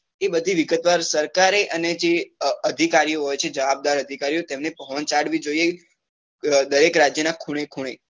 એ બધી વિગતવાર સરકારે અને જે અધિકારીઓ જે જવાબદાર અધિકારીઓ જેમને પહોચાડવી જોઈએ દરેક રાજ્ય ના ખૂણે ખૂણે